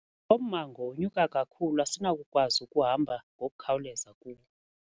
Lo mmango unyuka kakhulu asinakukwazi ukuhamba ngokukhawuleza kuwo.